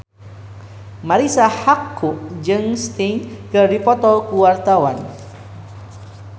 Marisa Haque jeung Sting keur dipoto ku wartawan